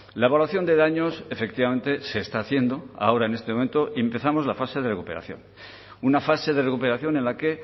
la evaluación de daños efectivamente se está haciendo ahora en este momento y empezamos la fase de recuperación una fase de recuperación en la que